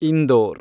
Indore